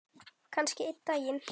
Kannski einn daginn.